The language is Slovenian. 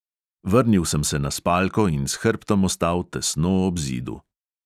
Vrnil sem se na spalko in s hrbtom ostal tesno ob zidu.